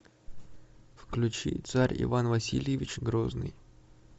включи царь иван васильевич грозный